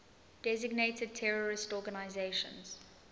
designated terrorist organizations